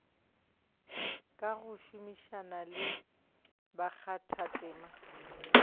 ka go šomišana le bakgathatema